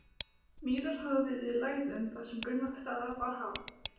Mýrar hafa verið í lægðum þar sem grunnvatnsstaða var há.